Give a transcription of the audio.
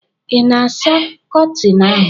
ị na-asa Kọtịn ahụ?